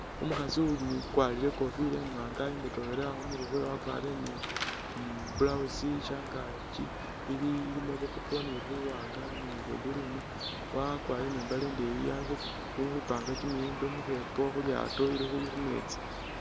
Umukhaasi ukwalire ikofila imwaanga i'mbotokhelele khumurwe khwewe, wakwalire ni blousi shangaki ilimo bwa purple ni buwaanga ni bwa green wakwalire ni mbaale ndeyi ali khupanga kimiyembe mukheepo khulyaato Lili khumeetsi